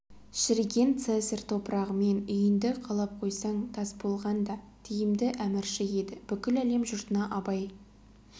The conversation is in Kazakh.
шіріген цезарь топырағымен үйінді қалап қойсаң тас болған да тиімді әмірші еді бүкіл әлем жұртына абай